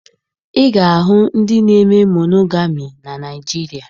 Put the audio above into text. Ị ga-ahụ ndị na-eme monogami na Naịjirịa